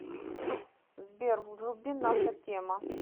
сбер вруби наша тема